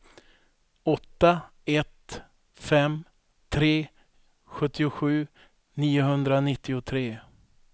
åtta ett fem tre sjuttiosju niohundranittiotre